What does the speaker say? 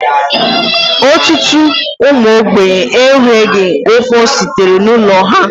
Ọtụtụ ụmụ ogbenye e nweghị ofostiri n'ụlọ ha.